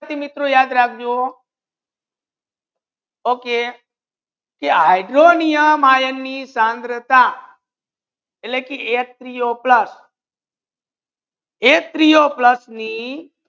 મિત્રો યાદ રાખજો okay કે હાઇડ્રોનિયમ આયન મા એની સાંદ્રતા એટલ કે H Three O plus H Three O plus means